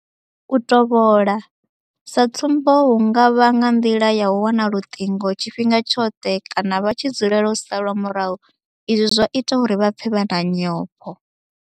U tovhola, sa tsumbo hu nga vha nga nḓila ya u wana luṱingo tshifhinga tshoṱhe kana vha tshi dzulela u salwa murahu izwi zwa ita uri vha pfe vha na nyofho.